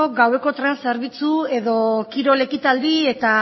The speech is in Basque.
gaueko tren zerbitzu edo kirol ekitaldi eta